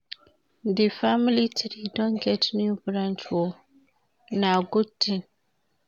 Di family tree don get new branch o, na good tin.